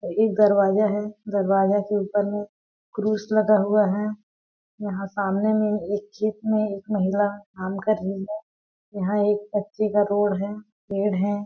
एक दरवाजा है दरवाजा के ऊपर में क्रूस लगा हुआ है यहाँ सामने में एक छिप में एक महिला काम कर रही है यहाँ एक कच्चे का रोड है पेड़ है।